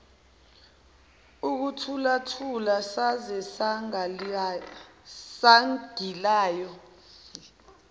ukuthulathula saze sangilaya